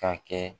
Ka kɛ